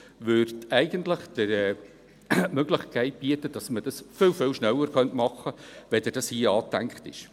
Die Technologie würde eigentlich die Möglichkeit bieten, dass wir dies viel, viel schneller machen könnten, als es hier angedacht ist.